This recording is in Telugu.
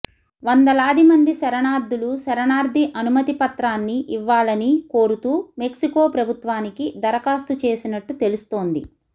వందలాదిమంది శరణార్థులు శరణార్థి అనుమతిపత్రాన్ని ఇవ్వాలని కోరుతూ మెక్సికో ప్రభుత్వానికి దరఖాస్తు చేసినట్టు తెలుస్తోంది